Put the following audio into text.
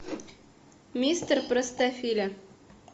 мистер простофиля